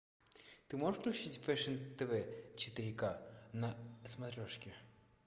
ты можешь включить фэшн тв четыре ка на смотрешке